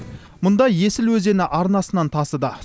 мұнда есіл өзені арнасынан тасыды